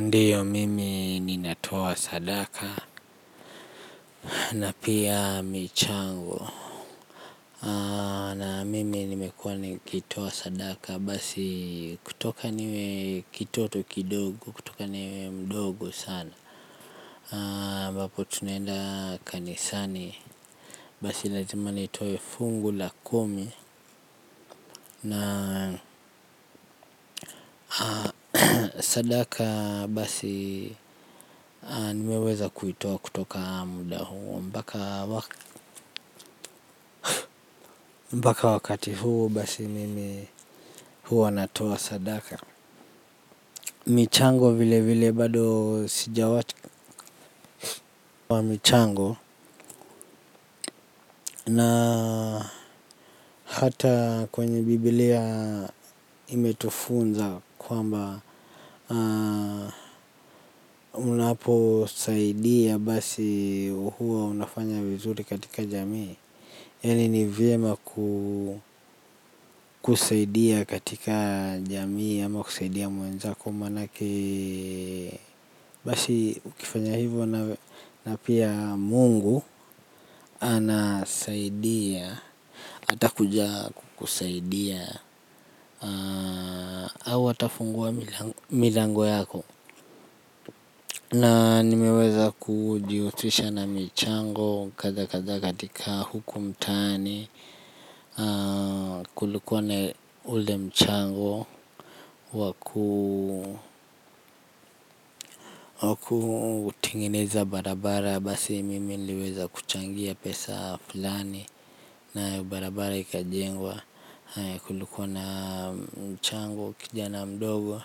Ndiyo mimi ninatoa sadaka. Na pia michango na mimi nimekuwa nikitoa sadaka basi kutoka niwe kitoto kidogo kutoka niwe mdogo sana ambapo tunaenda kanisani. Basi lazima nitoe fungu la kumi. Na sadaka basi nimeweza kuitoa kutoka muda huo. Mbaka wakati huu basi mimi huwa natoa sadaka. Michango vile vile bado sijawati wa michango. Na hata kwenye biblia imetufunza kwamba unaposaidia basi huwa unafanya vizuri katika jamii yaani ni vyema kusaidia katika jamii ama kusaidia mwenzako manake. Basi ukifanya hivo na pia mungu anasaidia. Atakuja kusaidia hawa au atafungua milango yako. Na nimeweza kujiutrisha na michango kadha kadha katika huku mtaani. Kulikuwa na ule mchango wa kutengeneza barabara basi mimi niliweza kuchangia pesa fulani. Na barabara ikajengwa kulikuwa na mchango kijana mdogo.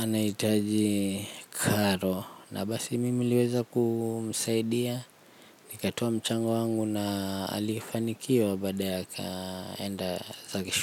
Anahitaji karo. Na basi mimi niliweza kumsaidia. Nikatoa mchango wangu na alifanikiwa baadaye akaenda zake shuli.